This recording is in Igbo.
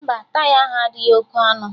Mba, taya ahụ adịghị oké ọnụ